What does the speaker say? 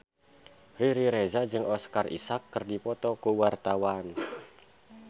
Riri Reza jeung Oscar Isaac keur dipoto ku wartawan